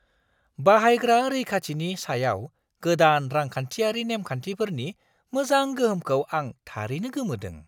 बाहायग्रा रैखाथिनि सायाव गोदान रांखान्थियारि नेमखान्थिफोरनि मोजां गोहोमखौ आं थारैनो गोमोदों!